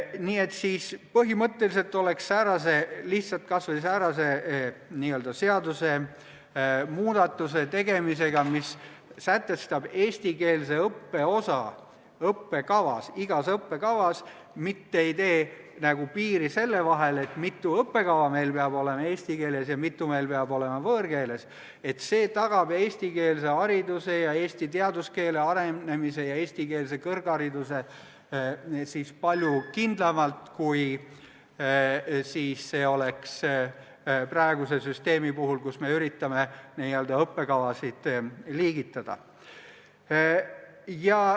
Nii et siis põhimõtteliselt aitaks säärane seadusemuudatus, mis määrab igas õppekavas kindlaks eestikeelse õppe osa, mitte ei ütle, mitu õppekava meil peab olema eesti keeles ja mitu meil peab olema võõrkeeles, tagada eestikeelse hariduse, eesti teaduskeele arenemise ja eestikeelse kõrghariduse palju kindlamalt kui praegune süsteem, kus me üritame n-ö õppekavasid liigitada.